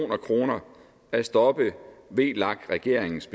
kroner at stoppe vlak regeringens